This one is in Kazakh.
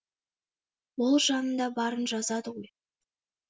ол жанында барын жазады ғой